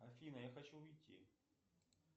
афина я хочу уйти